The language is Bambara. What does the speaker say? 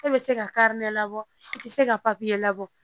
E bɛ se ka kari labɔ e tɛ se ka papiye labɔ